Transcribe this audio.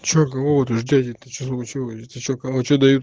что говорю дядя ты что случилось